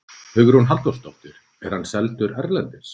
Hugrún Halldórsdóttir: Er hann seldur erlendis?